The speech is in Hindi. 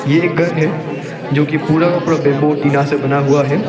ये एक घर है जो कि पूरा का पूरा बंबू और टीना से बना हुआ है।